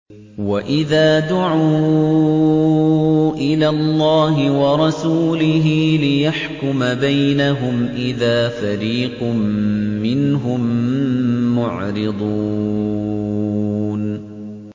وَإِذَا دُعُوا إِلَى اللَّهِ وَرَسُولِهِ لِيَحْكُمَ بَيْنَهُمْ إِذَا فَرِيقٌ مِّنْهُم مُّعْرِضُونَ